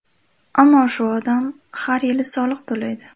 Ammo shu odam har yili soliq to‘laydi.